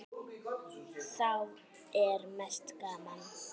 Þá er mest gaman.